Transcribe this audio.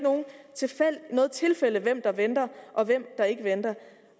noget tilfælde hvem der venter og hvem der ikke venter